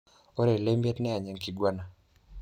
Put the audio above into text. Ore olemiet niany enkiguana.